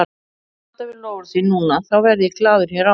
Ef þeir standa við loforð sín núna, þá verð ég glaður hér áfram.